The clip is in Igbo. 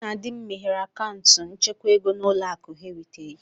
Mụ na di m meghere akaụntụ nchekwa ego na Ụlọakụ Heritage